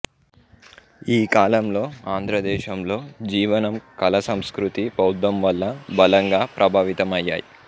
ఈ కాలంలో ఆంధ్రదేశంలో జీవనం కళ సంస్కృతి బౌద్ధంవల్ల బలంగా ప్రభావితమయ్యాయి